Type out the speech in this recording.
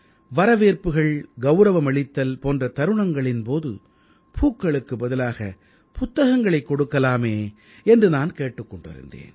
வரவேற்புகள்கௌரவமளித்தல் போன்ற தருணங்களின் போது பூக்களுக்கு பதிலாகப் புத்தகங்களைக் கொடுக்கலாமே என்று நான் கேட்டுக் கொண்டிருந்தேன்